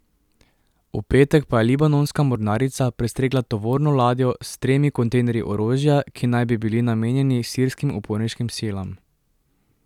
V petek pa je libanonska mornarica prestregla tovorno ladjo s stremi kontejnerji orožja, ki naj bi bili namenjeni sirskim uporniškim silam.